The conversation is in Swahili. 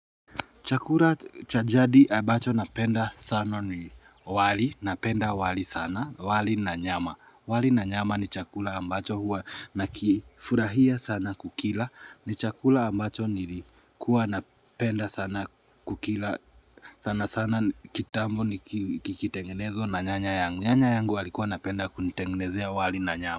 Chakula chajadi abacho napenda sana ni wali, napenda wali sana, wali na nyama. Wali na nyama ni chakula ambacho huwa na kifurahia sana kukila. Ni chakula ambacho nilikuwa napenda sana kukila sana sana kitambo ni kikitengenezo na nyanya yangu. Nyanya yangu walikuwa napenda kunitengenezea wali na nyama.